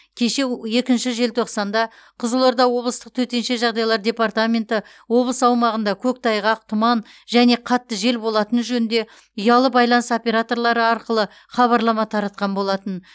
кеше у екінші желтоқсанда қызылорда облыстық төтенше жағдайлар департаменті облыс аумағында көктайғақ тұман және қатты жел болатыны жөнінде ұялы байланыс операторлары арқылы хабарлама таратқан болатын